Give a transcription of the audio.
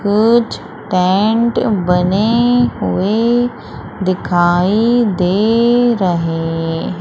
कुछ टेंट बने हुए दिखाई दे रहे--